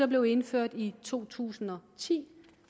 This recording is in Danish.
blev indført i to tusind og ti